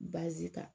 Baazi ta